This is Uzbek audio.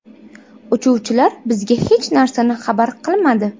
Uchuvchilar bizga hech narsani xabar qilmadi.